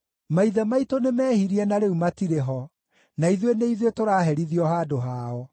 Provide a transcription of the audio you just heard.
Maithe maitũ nĩmehirie na rĩu matirĩ ho, na ithuĩ nĩ ithuĩ tũraherithio handũ hao.